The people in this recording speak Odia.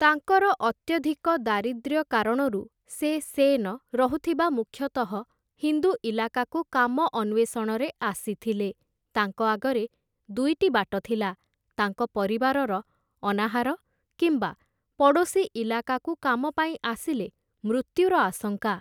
ତାଙ୍କର ଅତ୍ୟଧିକ ଦାରିଦ୍ର୍ୟ କାରଣରୁ, ସେ ସେନ, ରହୁଥିବା ମୁଖ୍ୟତଃ ହିନ୍ଦୁ ଇଲାକାକୁ କାମ ଅନ୍ୱେଷଣରେ ଆସିଥିଲେ, ତାଙ୍କ ଆଗରେ ଦୁଇଟି ବାଟ ଥିଲା, ତାଙ୍କ ପରିବାରର ଅନାହାର କିମ୍ବା ପଡ଼ୋଶୀ ଇଲାକାକୁ କାମ ପାଇଁ ଆସିଲେ ମୃତ୍ୟୁର ଆଶଙ୍କା ।